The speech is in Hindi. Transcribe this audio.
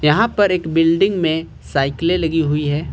यहां पर एक बिल्डिंग में साइकलें लगी हुई हैं।